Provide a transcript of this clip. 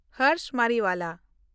Harsh Mariwala